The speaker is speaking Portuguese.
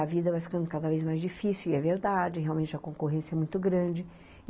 A vida vai ficando cada vez mais difícil, e é verdade, realmente a concorrência é muito grande.